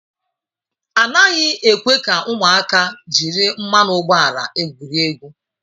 A naghị ekwe ka ụmụaka jiri mmanụ ụgbọala egwurie egwu.